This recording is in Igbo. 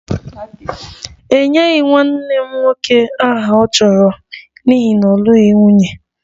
E nyeghị nwanne m nwoke aha ọ chọrọ n'ihi na ọ lụghị nwunye